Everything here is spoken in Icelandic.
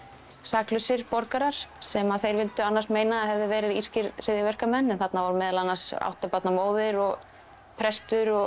saklausir borgarar sem þeir vildu meina að hefðu verið írskir hryðjuverkamenn en þarna voru meðal annars átta barna móðir og prestur og